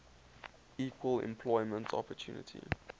equal employment opportunity